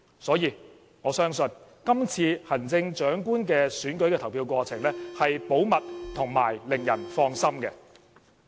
所以，我相信今次行政長官選舉的投票過程是保密及令人放心的。